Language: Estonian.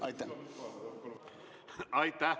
Aitäh!